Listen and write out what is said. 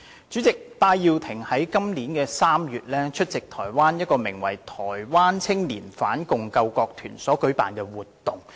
主席，戴耀廷於今年3月在台灣出席一個名為"台灣青年反共救國團"的團體所舉辦的活動。